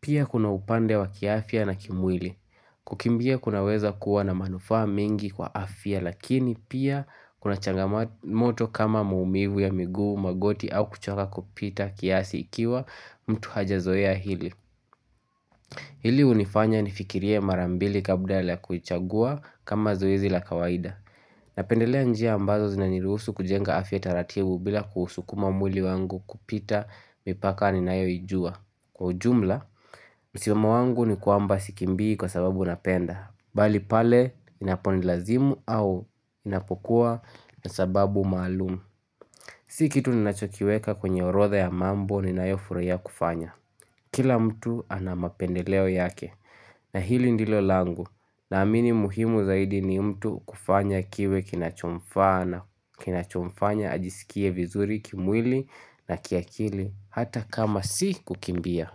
Pia kuna upande wa kiafya na kimwili Kukimbia kuna weza kuwa na manufa mingi kwa afya Lakini pia kuna changamoto moto kama muumivu ya migu magoti au kuchoka kupita kiasi ikiwa mtu hajazoea hili Hili unifanya nifikirie mara mbili kabdala kuichagua kama zoezi la kawaida. Napendelea njia ambazo zinanirusu kujenga afeta ratibu bila kuhusu kuma mwili wangu kupita mipaka ninayoijua. Kwa ujumla, msemo wangu ni kuamba sikimbi kwa sababu unapenda. Bali pale inaponilazimu au inapokuwa na sababu malumu. Si kitu ninachokiweka kwenye orodha ya mambo ni nayofurahiya kufanya. Kila mtu anamapendeleo yake na hili ndilo langu na amini muhimu zaidi ni mtu kufanya kiwe kinacho mfaa na, kinachomfanya ajisikie vizuri kimwili na kiakili hata kama si kukimbia.